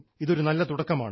ഇതൊരു നല്ല തുടക്കമാണ്